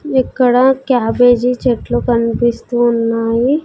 ఇక్కడ క్యాబేజీ చెట్లు కనిపిస్తూ ఉన్నాయి.